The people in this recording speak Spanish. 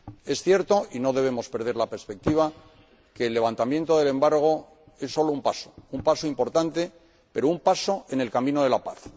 Es cierto, y no debemos perder la perspectiva, que el levantamiento del embargo es sólo un paso, un paso importante, pero un paso en el camino de la paz.